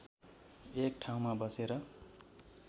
एक ठाउँमा बसेर